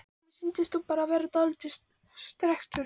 Mér sýndist þú bara vera dáldið strekktur.